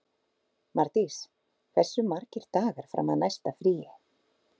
Mardís, hversu margir dagar fram að næsta fríi?